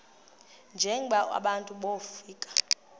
njengaba bantu wofika